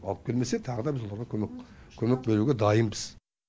алып келмесе тағы да біз оларға көмек беруге дайынбыз